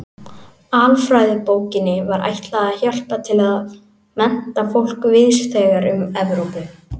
Alfræðibókinni var ætlað að hjálpa til við að mennta fólk víðs vegar um Evrópu.